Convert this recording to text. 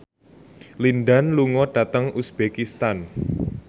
Lin Dan lunga dhateng uzbekistan